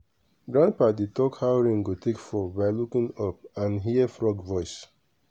grandpa dey talk how rain go take fall by looking up and hear frog voice.